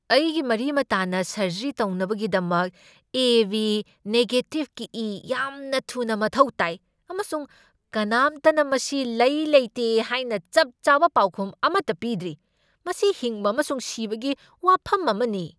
ꯑꯩꯒꯤ ꯃꯔꯤ ꯃꯇꯥꯅ ꯁꯔꯖꯔꯤ ꯇꯧꯅꯕꯒꯤꯗꯃꯛ ꯑꯦ. ꯕꯤ. ꯅꯦꯒꯦꯇꯤꯚꯒꯤ ꯏ ꯌꯥꯝꯅ ꯊꯨꯅ ꯃꯊꯧ ꯇꯥꯏ, ꯑꯃꯁꯨꯡ ꯀꯅꯥꯝꯇꯅ ꯃꯁꯤ ꯂꯩ ꯂꯩꯇꯦ ꯍꯥꯏꯅ ꯆꯞ ꯆꯥꯕ ꯄꯥꯎꯈꯨꯝ ꯑꯃꯇ ꯄꯤꯗ꯭ꯔꯤ꯫ ꯃꯁꯤ ꯍꯤꯡꯕ ꯑꯃꯁꯨꯡ ꯁꯤꯕꯒꯤ ꯋꯥꯐꯝ ꯑꯃꯅꯤ!